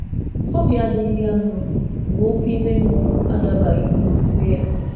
Obi gbàrà ya ọsọ ọsọ mgbe iwu ime mmụọ jùrù n’ime ihe ọ kweère n’onwe ya.